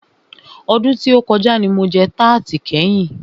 Ọdún tí o kọjá ní mo jẹ tarti kẹ́yin.